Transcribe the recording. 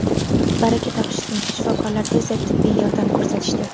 Baraka topishsin shifokorlar tezda tibbiy yordam ko‘rsatishdi.